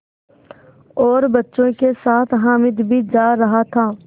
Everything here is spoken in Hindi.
और बच्चों के साथ हामिद भी जा रहा था